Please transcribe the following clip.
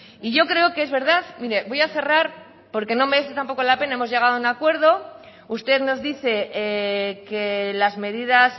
y yo creo que es verdad mire voy a cerrar porque no merece tampoco la pena hemos llegado a un acuerdo usted nos dice que las medidas